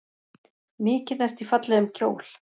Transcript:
Mikið ertu í fallegum kjól.